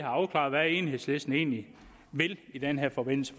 afklaret hvad enhedslisten egentlig vil i den her forbindelse